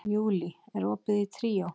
Júlí, er opið í Tríó?